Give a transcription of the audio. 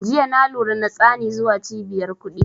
Jiya na lura na tsani zuwa cibiyar kuɗi